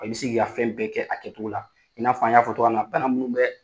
I bɛ se k'i ka fɛn bɛɛ kɛ a kɛcogo la, i n'a f'an y'a fɔ togo min na bana minnu bɛɛ